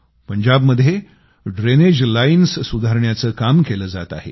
पंजाबमध्ये drainage lines सुधारण्याचं काम केलं जात आहे